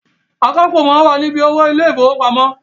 Akápò máa ń wà ni bí owó ilé ìfowópamọ́